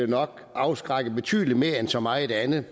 nok afskrække betydelig mere end så meget andet